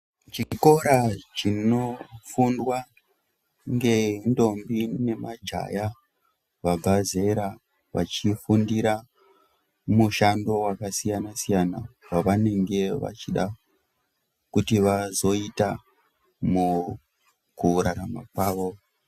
Chikora zvinofundwa ngendombi nemajaya vabva zera vachifundira mushando wakasiyana-siyana wavanenge vachida kuti vazoita mu kurarama kwavo.